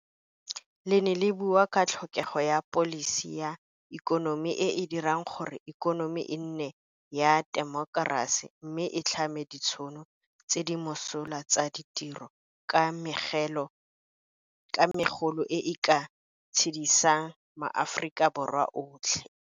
Le ne le bua ka tlhokego ya pholisi ya ikonomi e e dirang gore ikonomi e nne ya temokerasi mme e tlhame ditšhono tse di mosola tsa ditiro ka megolo e e ka tshedisang maAforika Borwa otlhe.